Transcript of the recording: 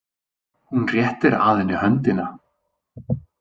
Hún réttir að henni höndina.